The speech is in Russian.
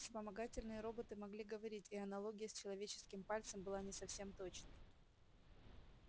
вспомогательные роботы могли говорить и аналогия с человеческим пальцем была не совсем точной